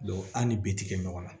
an ni bitikɛ ɲɔgɔn na